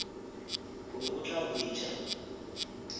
o be o tla hwetša